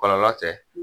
Kɔlɔlɔ tɛ